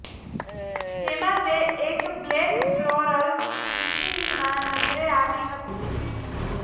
જેમાં તે એક બ્લેક ફ્લોરલ બિકીનીમાં નજરે આવી હતી